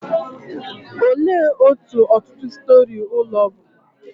Olee otú ọtụtụ storey ụlọ bụ?